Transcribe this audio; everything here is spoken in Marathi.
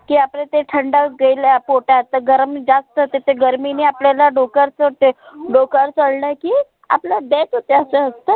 की, आपलं ते थंड गेलं पोटात त गरम जास्त होते. ते गर्मीनी आपल्याला डोक्यावर चढते डोक्यावर चढलं की आपलं death होते असं असत.